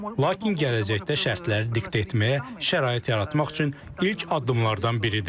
Lakin gələcəkdə şərtləri diktə etməyə şərait yaratmaq üçün ilk addımlardan biridir.